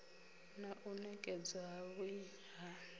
na u nekedzwa havhui ha